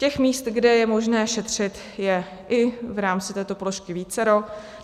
Těch míst, kde je možné šetřit, je i v rámci této položky vícero.